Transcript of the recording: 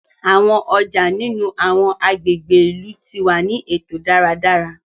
Awọn ọja nínú awọn agbègbè ìlú ti wá ni eto dáradára